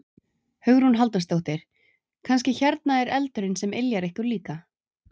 Hugrún Halldórsdóttir: Kannski hérna eldurinn sem yljar ykkur líka?